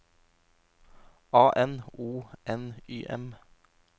A N O N Y M